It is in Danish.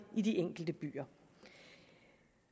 i de enkelte byer